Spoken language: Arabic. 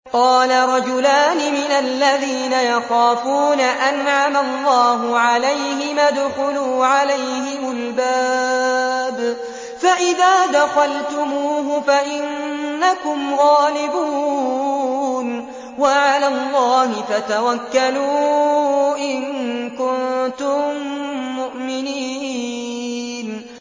قَالَ رَجُلَانِ مِنَ الَّذِينَ يَخَافُونَ أَنْعَمَ اللَّهُ عَلَيْهِمَا ادْخُلُوا عَلَيْهِمُ الْبَابَ فَإِذَا دَخَلْتُمُوهُ فَإِنَّكُمْ غَالِبُونَ ۚ وَعَلَى اللَّهِ فَتَوَكَّلُوا إِن كُنتُم مُّؤْمِنِينَ